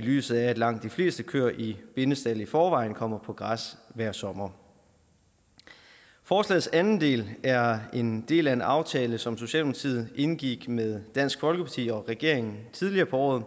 lyset af at langt de fleste køer i bindestald i forvejen kommer på græs hver sommer forslagets anden del er en del af en aftale som socialdemokratiet indgik med dansk folkeparti og regeringen tidligere på året